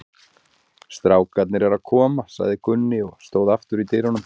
Strákarnir eru að koma, sagði Gunni og stóð aftur í dyrunum.